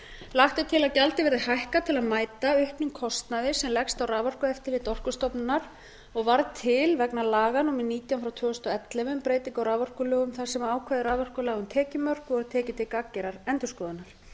lagt er til að gjaldið verði hækkað til að mæta auknum kostnaði sem leggst á raforkueftirlit orkustofnunar og varð til vegna laga númer nítján tvö þúsund og ellefu um breytingu á raforkulögum þar sem ákvæði raforkulaga um tekjumörk voru tekin til gagnger að endurskoðunar